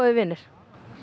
vinir